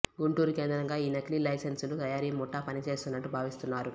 గుంటూరు కేంద్రంగా ఈ నకిలీ లైసెన్సుల తయారీ ముఠా పనిచేస్తున్నట్లు భావిస్తున్నారు